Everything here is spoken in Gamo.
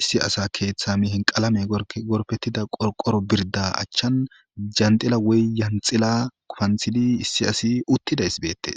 issi asa keeththa mihin qalame gorpettida qoqoro birda achchan jandila woy yanxila kupanthidi issi asi uttidays beettees